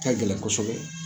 A ka gɛlɛn kɔsɔbɛ